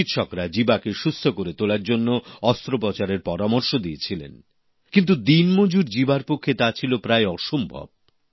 চিকিৎসকরা জীবাকে সুস্থ করে তোলার জন্য অস্ত্রোপচারের পরামর্শ দিয়েছিলেন কিন্তু দিনমজুর জীবার পক্ষে তা ছিল প্রায় অসম্ভব